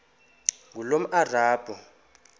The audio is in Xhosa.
ngulomarabu